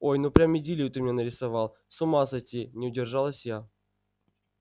ой ну прям идиллию ты мне нарисовал с ума сойти не удержалась я